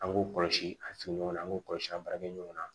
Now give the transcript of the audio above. An k'u kɔlɔsi a surun ɲɔgɔnna an k'u kɔlɔsi an baarakɛ ɲɔgɔn na